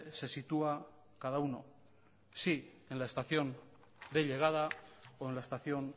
se sitúa cada uno si en la estación de llegada o en la estación